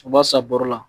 U b'a san bɔrɔ la